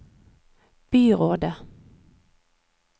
byrådet